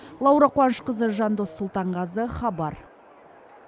лаура қуанышқызы жандос сұлтанғазы хабар